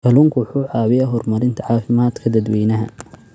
Kalluunku wuxuu caawiyaa horumarinta caafimaadka dadweynaha.